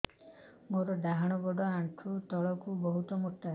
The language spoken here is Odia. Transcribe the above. ମୋର ଡାହାଣ ଗୋଡ ଆଣ୍ଠୁ ତଳୁକୁ ବହୁତ ମୋଟା